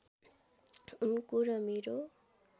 उनको र मेरो